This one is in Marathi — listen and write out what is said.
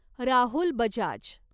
राहुल बजाज